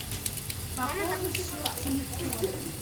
пополни счет телефона